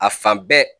A fan bɛɛ